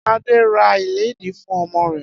Ade ra iledìí fun omo re